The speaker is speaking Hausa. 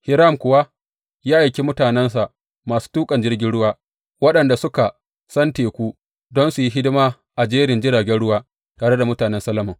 Hiram kuwa ya aiki mutanensa, masu tuƙan jirgin ruwa waɗanda suka san teku, don su yi hidima a jerin jiragen ruwa tare da mutanen Solomon.